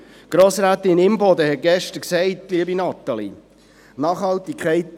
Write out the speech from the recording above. Grossrätin Imboden hatte gestern gesagt: